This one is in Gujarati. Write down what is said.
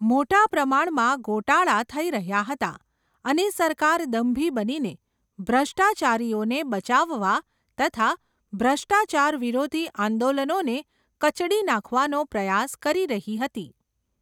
મોટા પ્રમાણમાં ગોટાળા થઈ રહ્યા હતા, અને સરકાર દંભી બનીને ભ્રષ્ટાચારીઓને બચાવવા, તથા ભ્રષ્ટાચાર વિરોધી આંદોલનોને કચડી નાખવાનો પ્રયાસ કરી રહી હતી.